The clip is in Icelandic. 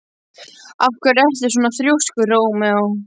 Af hverju ertu svona þrjóskur, Rómeó?